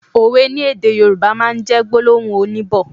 Òwe ni èdè Yorùbá máa n jẹ́ gbólóhùn oníbọ̀